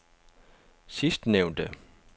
sidstnævnte